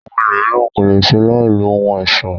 Àwọn ẹlòmíràn ko le ṣe láì lo ohun ọ̀ṣọ.